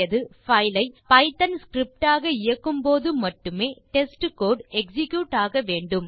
file ஐ Python script ஆக இயக்கும்போது மட்டுமே டெஸ்ட் கோடு எக்ஸிக்யூட் ஆக வேண்டும்